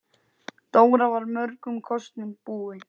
Dóra var mörgum kostum búin.